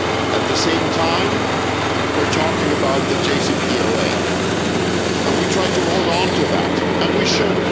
At the same time, we're talking about the JCPOA, and we try to hold on to that and we should.